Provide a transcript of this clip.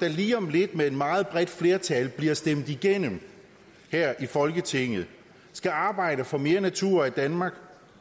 der lige om lidt med et meget bredt flertal bliver stemt igennem her i folketinget skal arbejde for mere natur i danmark